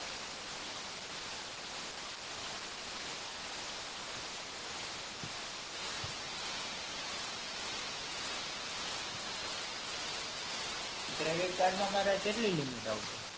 credit card માં મારે કેટલી limit આવશે?